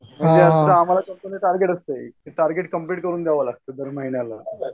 आम्हाला कंपनीचं टार्गेट असतंय ते टार्गेट कंप्लिट करून द्यावं लागतंय दर महिन्याला.